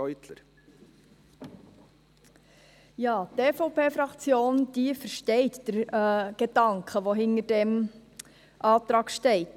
Die EVP-Fraktion versteht den Gedanken, welcher hinter diesem Antrag steht.